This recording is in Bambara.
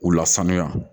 U lasanuya